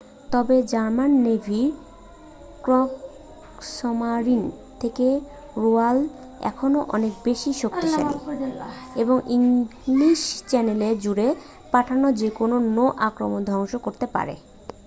"তবে জার্মান নেভির "ক্রেগসমারিন" থেকে রয়্যাল এখনও অনেক বেশি শক্তিশালী এবং ইংলিশ চ্যানেল জুড়ে পাঠানো যে কোনও নৌ আক্রমণ ধ্বংস করতে পারে।